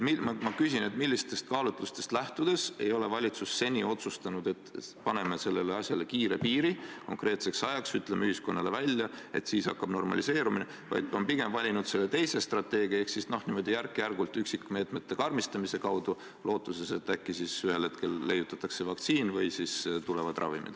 Ma küsin, millistest kaalutlustest lähtudes ei ole valitsus seni otsustanud, et paneme sellele asjale kiirelt piiri, ütleme ühiskonnale välja konkreetse aja, et siis hakkab normaliseerumine, vaid on pigem valinud teise strateegia ehk järk-järgult üksikmeetmete karmistamise, lootuses, et äkki ühel hetkel leiutatakse vaktsiin või tulevad ravimid.